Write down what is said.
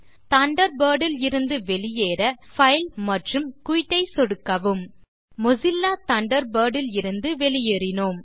Thunderbird இலிருந்து வெளியேற main menu விலிருந்துFile மற்றும் குயிட் ஐ சொடுக்கவும் மொசில்லா தண்டர்பர்ட் இலிருந்து வெளியேறினோம்